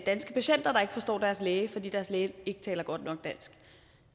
danske patienter der ikke forstår deres læge fordi deres læge ikke taler godt nok dansk